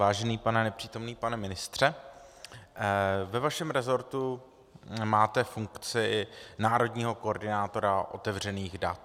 Vážený pane - nepřítomný - pane ministře, ve vašem resortu máte funkci národního koordinátora otevřených dat.